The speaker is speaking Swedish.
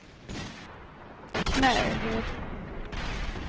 Knäred